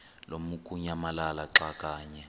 lamukunyamalala xa kanye